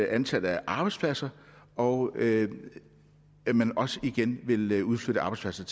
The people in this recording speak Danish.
antallet af arbejdspladser og at at man også igen vil vil udflytte arbejdspladser